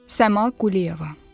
Səma Quliyeva.